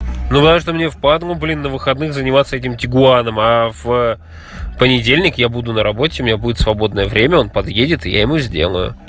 думаю что мне впадлу блин на выходных заниматься этим тигуаном а в понедельник я буду на работе у меня будет свободное время он подъедет и я ему сделаю